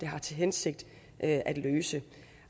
har til hensigt at løse